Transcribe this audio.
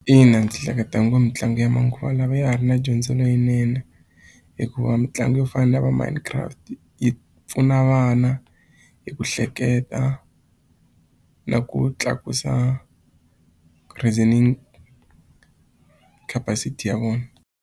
Ina ndzi hleketa ngo mitlangu ya manguva lawa ya ha ri na dyondzo leyinene hikuva mitlangu yo fana na lava minecraft yi pfuna vana hi ku hleketa na ku tlakusa reasoning capacity ya vona.